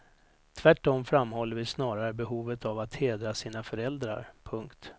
Tvärtom framhåller vi snarare behovet av att hedra sina föräldrar. punkt